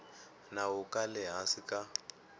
nawu ka le hansi ka